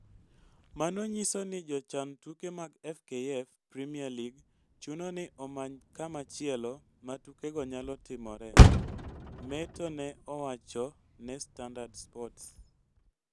Mano nyiso ni jochan tuke mag FKF Premier League chuno ni omany kamachielo ma tukego nyalo timore," Metto ne owacho ne Standard Sports.